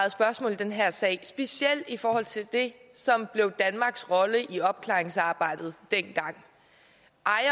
i den her sag specielt i forhold til det som blev danmarks rolle i opklaringsarbejdet dengang